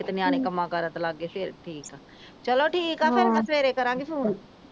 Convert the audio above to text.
ਕਿਤੇ ਨਿਆਣੇ ਕੰਮਾਂ ਕਾਰਾ ਤੇ ਲੱਗ ਗਏ ਫੇਰ ਠੀਕ ਆ ਚਲੋ ਠੀਕ ਆ ਫੇਰ ਮੈਂ ਸਵੇਰੇ ਕਰਾਂਗੀ ਫੋਨ